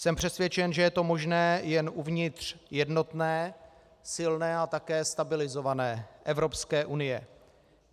Jsem přesvědčen, že je to možné jen uvnitř jednotné, silné a také stabilizované Evropské unie.